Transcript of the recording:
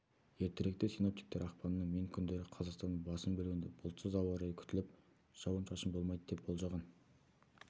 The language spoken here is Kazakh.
ертеректе синоптиктер ақпанның мен күндері қазақстанның басым бөлігінде бұлтсыз ауа райы күтіліп жауын-шашын болмайды деп болжаған